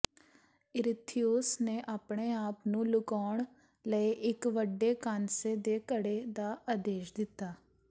ਈਰੀਥਥੀਉਸ ਨੇ ਆਪਣੇ ਆਪ ਨੂੰ ਲੁਕਾਉਣ ਲਈ ਇੱਕ ਵੱਡੇ ਕਾਂਸੇ ਦੇ ਘੜੇ ਦਾ ਆਦੇਸ਼ ਦਿੱਤਾ